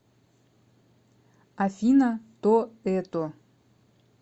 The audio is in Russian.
афина то это